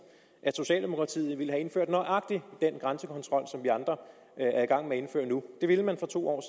at socialdemokratiet ville have indført nøjagtig den grænsekontrol som vi andre er i gang med at indføre nu det ville man for to år